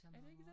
Er det ikke det?